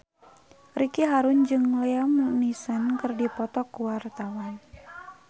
Ricky Harun jeung Liam Neeson keur dipoto ku wartawan